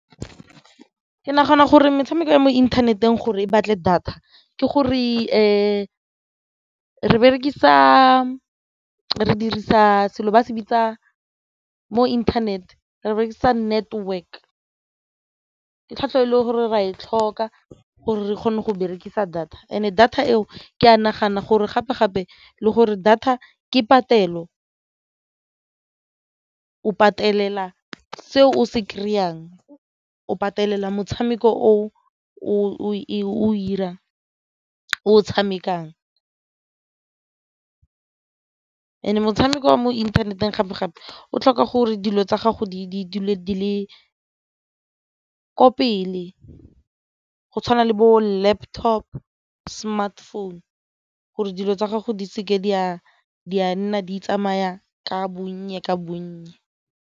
Ke nagana gore metshameko ya mo inthaneteng gore e batle data ke gore re dirisa selo se bitsa mo inthanete re berekisa network ka tlhwatlhwa e le gore ra e tlhoka gore re kgone go berekisa data and-e data eo ke nagana gore gape-gape le gore data ke patelo, o patelela se o se kry-ang, o patelela motshameko o o ko o ira o tshamekang. And-e motshameko wa mo inthaneteng gape-gape o tlhoka gore dilo tsa gago di dule di le ko pele go tshwana le bo-laptop, smartphone gore dilo tsa gago di seke di a di nna di tsamaya ka bonnye ka bonnye.